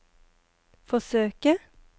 forsøke